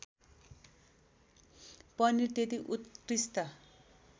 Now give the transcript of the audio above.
पनिर त्यति उत्कृष्ट